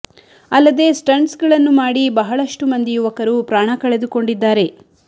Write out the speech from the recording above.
ಅಲ್ಲದೆ ಸ್ಟಂಟ್ಸ್ ಗಳನ್ನು ಮಾಡಿ ಬಹಳಷ್ಟು ಮಂದಿ ಯುವಕರು ಪ್ರಾಣ ಕಳೆದುಕೊಂಡಿದ್ದಾರೆ